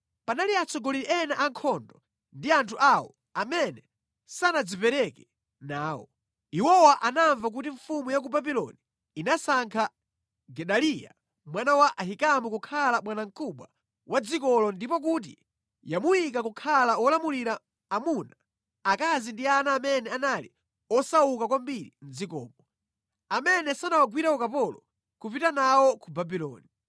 Panali atsogoleri ena a nkhondo ndi anthu awo amene sanadzipereke nawo. Iwowa anamva kuti mfumu ya ku Babuloni inasankha Gedaliya mwana wa Ahikamu kukhala bwanamkubwa wa dzikolo ndipo kuti yamuyika kukhala wolamulira amuna, akazi ndi ana amene anali osauka kwambiri mʼdzikomo, amene sanawagwire ukapolo kupita nawo ku Babuloni.